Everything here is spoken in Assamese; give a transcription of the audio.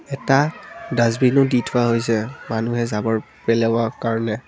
এটা ডাছবিনো দি থোৱা হৈছে মানুহে জাবৰ পেলাবৰ কাৰণে।